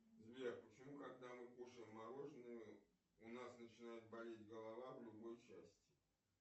сбер почему когда мы кушаем мороженое у нас начинает болеть голова в любой части